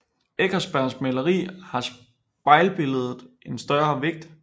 I Eckersbergs maleri har spejlbilledet en større vægt